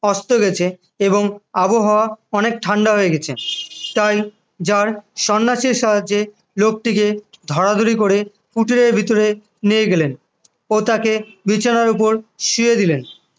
অস্ত গেছে এবং আবহাওয়া অনেক ঠান্ডা হয়ে গেছে তাই জার সন্ন্যাসীর সাহায্যে লোকটিকে ধরাধরি করে কুটিরের ভিতরে নিয়ে গেলেন ও তাকে বিছানার উপর শুয়ে দিলেন